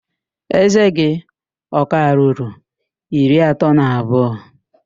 Ézé gị ọ ka ruru iri atọ na abụọ?